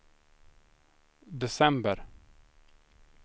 december